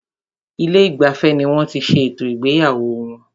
Ilé ìgbafẹ́ ní wọ́n tí ṣé ètò ìgbéyàwó wọn.